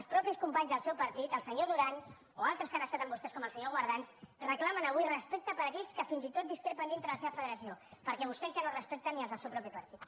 els mateixos companys del seu partit el senyor duran o altres que han estat amb vostès com el senyor guardans reclamen avui respecte per aquells que fins i tot discrepen dintre de la seva federació perquè vostès ja no respecten ni els del seu mateix partit